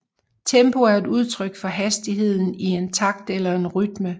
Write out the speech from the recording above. Tempo er et udtryk for hastigheden i en takt eller en rytme